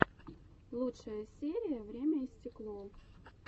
лучшая серия время и стекло